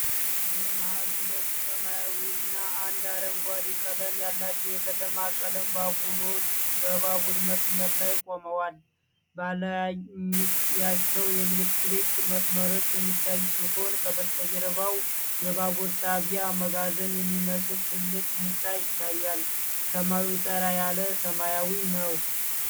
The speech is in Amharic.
በመሃል ሁለት ሰማያዊና አንድ አረንጓዴ ቀለም ያላቸው የከተማ ቀላል ባቡሮች በባቡር መስመር ላይ ቆመዋል። በላያቸው የኤሌክትሪክ መስመሮች የሚታዩ ሲሆን ከበስተጀርባው የባቡር ጣቢያ መጋዘን የሚመስል ትልቅ ህንጻ ይታያል። ሰማዩ ጠራ ያለ ሰማያዊ ነው።